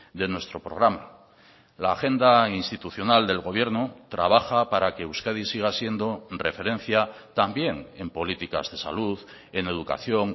de nuestro programa la agenda institucional del gobierno trabaja para que euskadi siga siendo referencia también en políticas de salud en educación